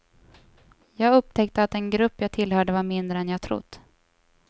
Jag upptäckte att den grupp jag tillhörde var mindre än jag trott.